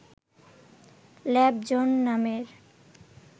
lab zone নামের